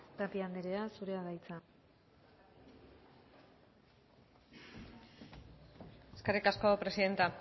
tapia andrea zurea da hitza eskerrik asko presidenta